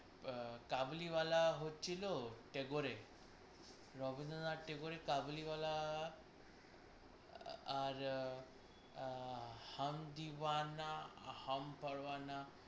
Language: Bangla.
আহ কাবুলিওয়ালা হচ্ছিল Tagore, Rabindranath Tagore কাবুলিওয়ালা আ~ আর আ~ হামদিওয়ানা হা~ হামপারওয়ানা।